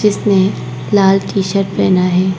इसने लाल T shirt पहना है।